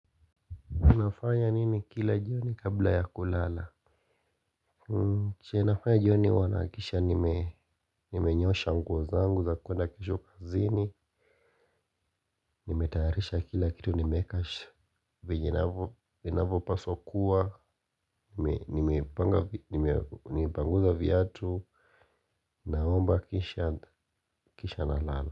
Unafanya nini kila jioni kabla ya kulala? Kenye nafanya jioni huwa nahakikisha nimenyoosha nguo zangu za kuenda kesho kazini. Nimetayarisha kila kitu nimeweka venye inavyo paswa kuwa, nimepanguza viatu. Naomba kisha nalala.